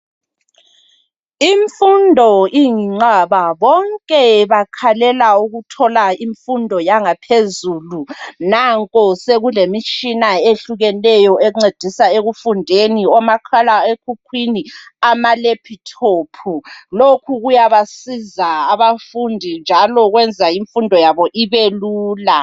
Imfundo iyinqaba. Bonke bakhalela ukuthola imfundo yangaphezulu. Nanko sokulemitshina ehlukeneyo encedisa ekufundeni, omakhala ekhukhwini, amalephuthophu. Lokhu kuyabasiza abafundi njalo kwenza imfundo yabo ibe lula.